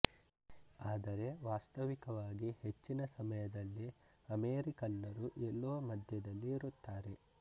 ಆದರೆ ವಾಸ್ತವಿಕವಾಗಿ ಹೆಚ್ಚಿನ ಸಮಯದಲ್ಲಿ ಅಮೇರಿಕನ್ನರು ಎಲ್ಲೋ ಮಧ್ಯದಲ್ಲಿ ಇರುತ್ತಾರೆ